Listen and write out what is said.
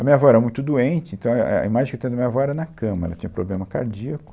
A minha avó era muito doente, então, éh, éh, a imagem que eu tenho da minha avó era na cama, ela tinha problema cardíaco.